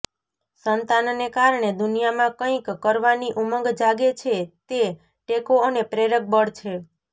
સંતાનને કારણે દુનિયામાં કંઇક કરવાની ઉમંગ જાગે છે તે ટેકો અને પ્રેરકબળ છે